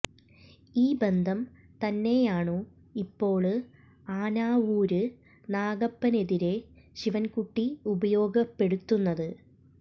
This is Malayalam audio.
ഈ ബന്ധം തന്നെയാണു ഇപ്പോള് ആനാവൂര് നാഗപ്പനെതിരെ ശിവന്കുട്ടി ഉപയോഗപ്പെടുത്തുന്നത്